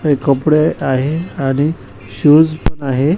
काही कपडे आहे आणि शूज पण आहे.